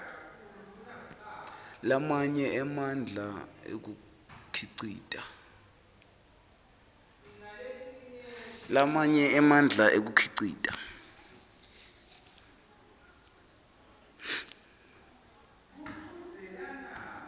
lamanye emandla ekukhicita